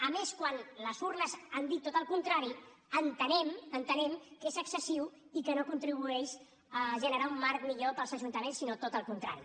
a més quan les urnes han dit tot el contrari entenem entenem que és excessiu i que no contribueix a generar un marc millor per als ajuntaments sinó tot el contrari